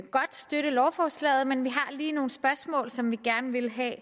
godt støtte lovforslaget men vi har lige nogle spørgsmål som vi gerne vil have